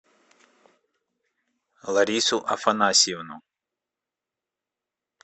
ларису афанасьевну